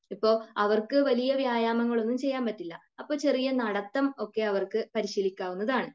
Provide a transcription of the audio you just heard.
ഇപ്പൊ അവർക്കു വലിയ വ്യായാമങ്ങൾ ഒന്നും ചെയ്യാൻ പറ്റില്ല. അപ്പൊ ചെറിയ നടത്തം ഒക്കെ അവർക്ക് പരിശീലിക്കാവുന്നതാണ്